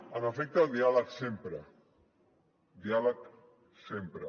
en efecte el diàleg sempre diàleg sempre